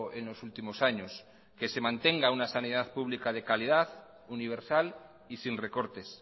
en los últimos años que se mantenga una salud pública de calidad universal y sin recortes